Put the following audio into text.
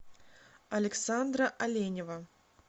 александра оленева